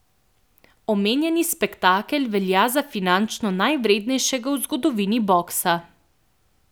Omenjeni spektakel velja za finančno najvrednejšega v zgodovini boksa.